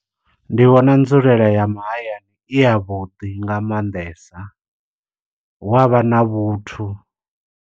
Ndi vhona nzulela ya mahayani i ya vhuḓi nga maanḓesa, hu avha na vhuthu.